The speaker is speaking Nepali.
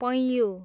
पैँयु